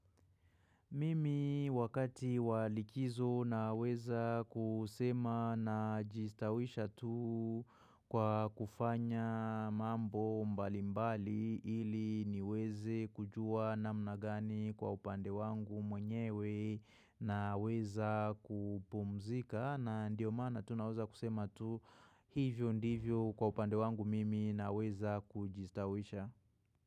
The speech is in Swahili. Mimi wakati walikizo na weza kusema na jistawisha tu kwa kufanya mambo mbalimbali ili niweze kujua namna gani kwa upande wangu mwenyewe naweza kupumzika. Na ndiyo maana tu naweza kusema tu hivyo ndivyo kwa upande wangu mimi naweza kujistawisha.